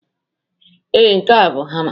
Ee, nke a bụ hama